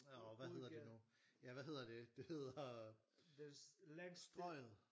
åh hvad hedder det nu ja hvad hedder det det hedder Strøget